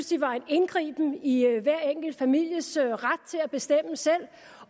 de var en indgriben i hver enkelt families ret til at bestemme selv